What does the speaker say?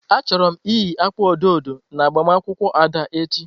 Achọrọ m iyi akwa odo odo na agbamakwụkwọ Ada echi.